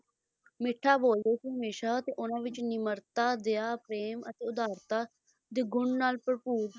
ਮਿੱਠਾ ਬੋਲਦੇ ਸੀ ਹਮੇਸ਼ਾ ਤੇ ਉਹਨਾਂ ਵਿੱਚ ਨਿਮਰਤਾ, ਦਇਆ, ਪ੍ਰੇਮ ਅਤੇ ਉਧਾਰਤਾ ਦੇ ਗੁਣ ਨਾਲ ਭਰਪੂਰ ਸੀਗੇ ਉਹ ਦੂਸਰਾ purpose